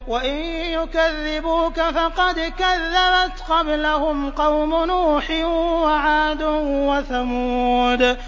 وَإِن يُكَذِّبُوكَ فَقَدْ كَذَّبَتْ قَبْلَهُمْ قَوْمُ نُوحٍ وَعَادٌ وَثَمُودُ